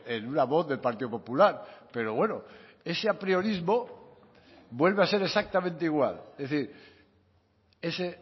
en una voz del partido popular pero bueno ese apriorismo vuelve a ser exactamente igual es decir ese